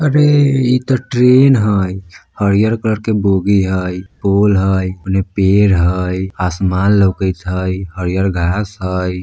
अरे ये तो ट्रैन हय हरिहर कलर के बोगी हय पोल हय औने पेड़ हय आसमान हय हरियर घास हय।